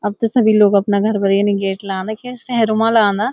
अब त सबि लोग अपना घर पर यनि गेट लगांदा के सहरू मा लगांदा --